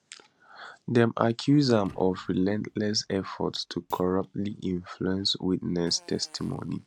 dem accuse am of relentless efforts to corruptly influence witness testimony